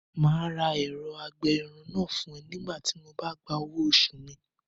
Màá ra ẹ̀rọ-agbẹ-irun náà fún ẹ nígbà tí Mo ba gba owo oṣù mi